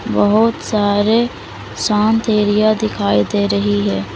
बहोत सारे शांत एरिया दिखाई दे रही है।